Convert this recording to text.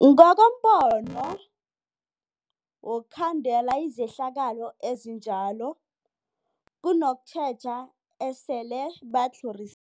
Ngokombono wokhandela izehlakalo ezinjalo kunokutjheja esele batlhoris